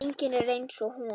Enginn er eins og hún.